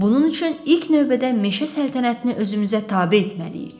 Bunun üçün ilk növbədə meşə səltənətini özümüzə tabe etməliyik.